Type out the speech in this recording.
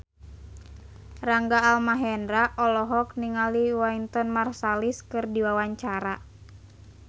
Rangga Almahendra olohok ningali Wynton Marsalis keur diwawancara